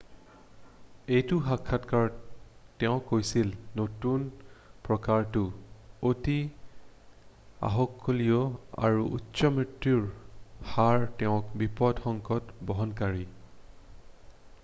"এটা সাক্ষাৎকাৰত তেওঁ কৈছিল নতুন প্ৰকাৰটো "অতি আহুকলীয়া আৰু উচ্চ মৃত্যুৰ হাৰ হেতুকে বিপদ সংকেত বহনকাৰী।" "